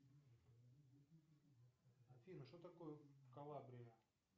афина что такое калабрия